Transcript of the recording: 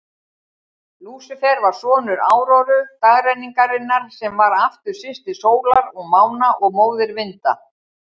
Lúsífer var sonur Áróru, dagrenningarinnar, sem var aftur systir sólar og mána og móðir vinda.